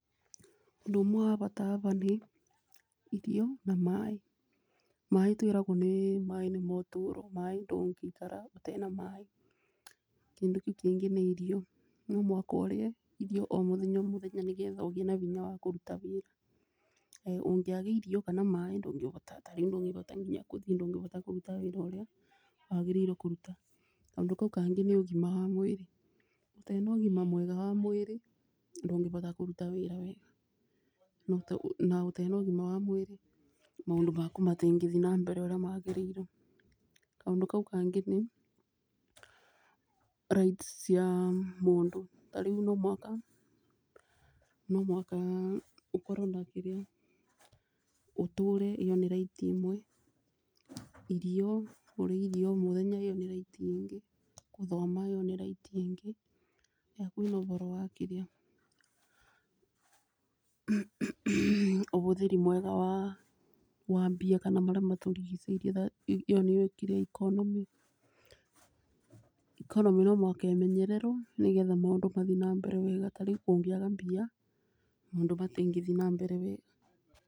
Ũndũ ũmwe wa bata haba nĩ irio na maaĩ, maaĩ twĩragwo maaĩ nĩmo çutũro maaĩ ndũngĩikara ũtarĩ na maaĩ. Kĩndũ kĩu kĩngĩ nĩ irio no mũhaka ũrie irio o mũthenya o mũthenya nĩ getha ũgĩe na binya wa kũruta wĩra. Ũngĩaga irio kana maaĩ ndũngĩbota, tarĩu ndũngĩbota nginya kũthi ndũngĩbota kũruta wĩra ũrĩa wagĩrĩirwo kũruta. Kanũndũ kau kangĩ nĩ ũgima wa mwĩrĩ, ũtaĩ na ũgima mwega wa mũĩrĩ ndũngĩbota kũruta wĩra wega, na ũtee na ũgima wa mwĩrĩ maũndũ maku matingĩthi na mbere ũrĩa magĩrĩirwo. Kaũndũ kau kangĩ nĩ rights cia mũndũ tarĩu no mũhaka ũkorwo na kĩrĩa, ũtũre ĩyo nĩ right ĩmwe, kũrĩa irio o mũthenya ĩyo nĩ right ingĩ, kũthoma ĩyo nĩ right ĩngĩ. Rĩrĩa kwĩna ũboro wa kĩrĩa ũhũthĩri mwega wa mbia kana marĩa matũrigicĩirie ĩyo nĩyo kĩrĩa economy, economy no mũhaka imenyererwo nĩ getha maũndũ mathiĩ na mbere wega, tarĩu kũngĩaga mbia maũndũ matingĩthi na mbere wega.